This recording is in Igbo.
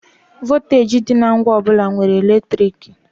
Vọlteeji dị na ngwa ọ bụla nwere eletriki.